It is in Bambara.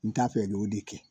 N t'a fɛ k'o de kɛ.